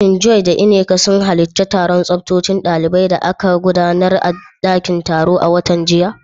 Shin Joy da Nneka sun halarci taron tsofaffin daliban da aka gudanar a dakin taro a watan jiya?